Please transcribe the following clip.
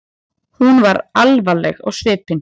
Hún var alvarleg á svipinn.